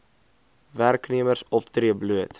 werknemers optree bloot